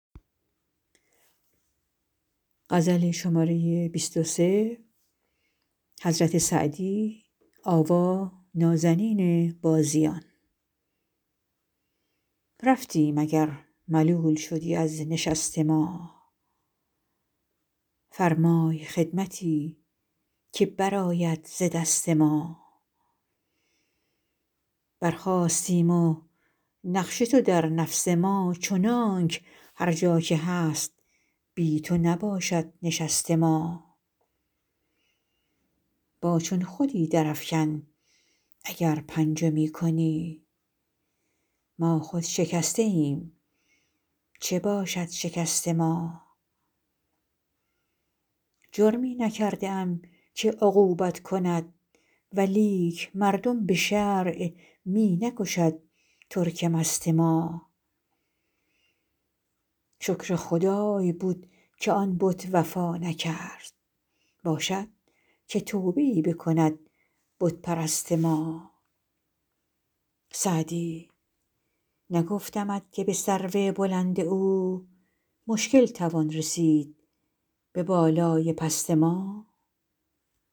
رفتیم اگر ملول شدی از نشست ما فرمای خدمتی که برآید ز دست ما برخاستیم و نقش تو در نفس ما چنانک هر جا که هست بی تو نباشد نشست ما با چون خودی درافکن اگر پنجه می کنی ما خود شکسته ایم چه باشد شکست ما جرمی نکرده ام که عقوبت کند ولیک مردم به شرع می نکشد ترک مست ما شکر خدای بود که آن بت وفا نکرد باشد که توبه ای بکند بت پرست ما سعدی نگفتمت که به سرو بلند او مشکل توان رسید به بالای پست ما